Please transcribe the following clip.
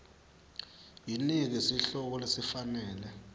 yinike sihloko lesifanele